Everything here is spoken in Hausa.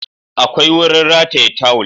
Akwai wurin rataya tawul